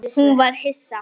Hún varð hissa.